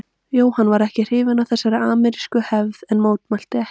Jóhann var ekki hrifinn af þessari amerísku hefð en mótmælti ekki.